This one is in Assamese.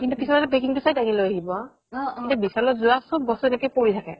কিন্তু কিছুমানে packing তো চাই তাকে লয় আহিব ৱিশাল জুৱা চব বস্তু কেনেকে পৰি থাকে